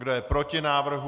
Kdo je proti návrhu?